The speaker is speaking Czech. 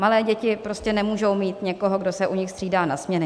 Malé děti prostě nemůžou mít někoho, kdo se u nich střídá na směny.